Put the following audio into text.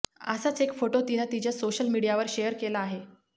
असाच एक फोटो तिनं तिच्या सोशल मीडियावर शेअर केला आहे